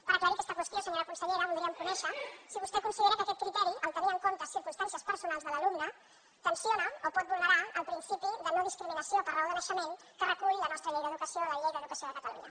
per aclarir aquesta qüestió senyora consellera voldríem conèixer si vostè considera que aquest criteri tenir en compte circumstàncies personals de l’alumne tensiona o pot vulnerar el principi de no discriminació per raó de naixement que recull la nostra llei d’educació la llei d’educació de catalunya